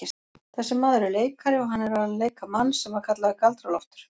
Þessi maður er leikari og hann er að leika mann sem var kallaður Galdra-Loftur.